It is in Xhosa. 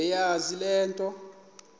bebeyazi le nto